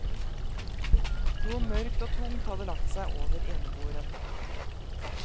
Noe mørkt og tungt hadde lagt seg over eneboeren.